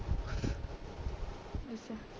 ਅੱਛਾ